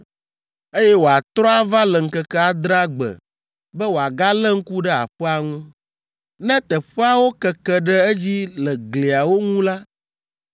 eye wòatrɔ ava le ŋkeke adrea gbe be wòagalé ŋku ɖe aƒea ŋu. Ne teƒeawo keke ɖe edzi le gliawo ŋu la,